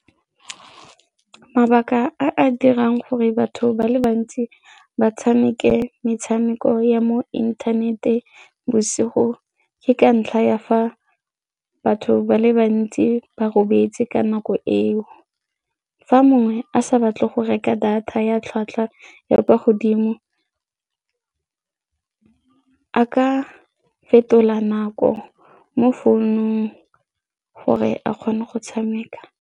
Mabaka a a dirang gore batho ba le bantsi ba tshameke metshameko ya mo inthanete bosigo ke ka ntlha ya fa batho ba le bantsi ba robetse ka nako eo. Fa mongwe a sa batle go reka data ya tlhwatlhwa ya kwa godimo, a ka fetola nako mo founung gore a kgone go tshameka.